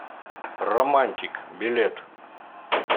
романтик билет